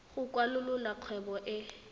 go kwalolola kgwebo e e